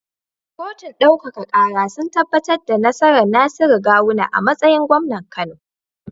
Kotun ɗaukaka kara sun tabbatar da nasarar Nasiru gawuna a matsayin gwamnan kano